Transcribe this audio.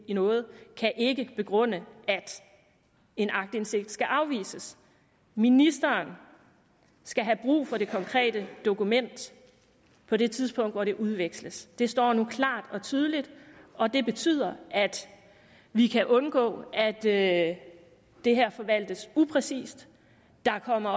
i noget kan ikke begrunde at en aktindsigt skal afvises ministeren skal have brug for det konkrete dokument på det tidspunkt hvor det udveksles det står nu klart og tydeligt og det betyder at vi kan undgå at det at det her forvaltes upræcist der kommer